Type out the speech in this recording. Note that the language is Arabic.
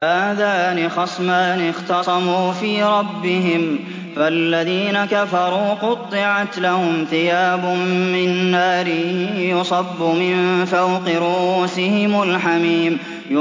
۞ هَٰذَانِ خَصْمَانِ اخْتَصَمُوا فِي رَبِّهِمْ ۖ فَالَّذِينَ كَفَرُوا قُطِّعَتْ لَهُمْ ثِيَابٌ مِّن نَّارٍ يُصَبُّ مِن فَوْقِ رُءُوسِهِمُ الْحَمِيمُ